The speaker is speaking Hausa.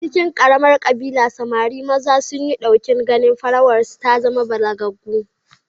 A cikin ƙaramar ƙabila, samari maza sun yi ɗokin ganin farawarsu ta zama balagaggu